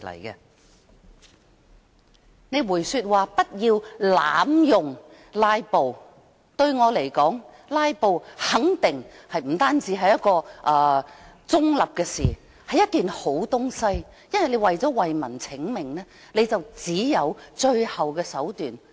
談到他說不要濫用"拉布"，但對我而言，"拉布"不單是一件中立事情，更肯定是一件好東西，因為想為民請命，就要使用到這最後手段。